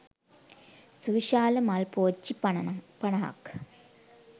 සුවිශාල මල් පෝච්චි පනහක්